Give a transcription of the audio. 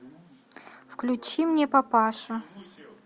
включи мне папаша